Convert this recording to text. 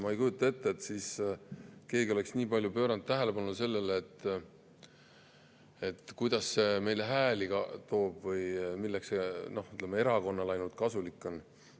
Ma ei kujuta ette, et siis oleks keegi pööranud nii palju tähelepanu sellele, kuidas meile hääli toob või erakonnale kasulik on.